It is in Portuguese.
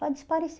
Para